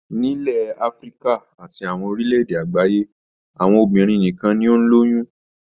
Nílẹ̀ Áfíríkà àti àwọn orílẹ̀-èdè àgbáyé, àwọn obìnrin nìkan ni ó ń lóyún.